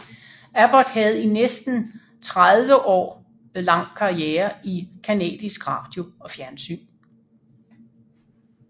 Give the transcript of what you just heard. Abbott havde i næsten tretti år lang karriere i canadisk radio og fjernsyn